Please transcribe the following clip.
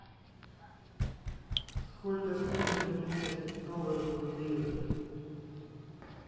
сколько стоит обменять доллары в лиры